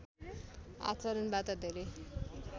आचरणबाट धेरै